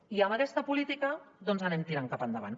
i amb aquesta política doncs anem tirant cap endavant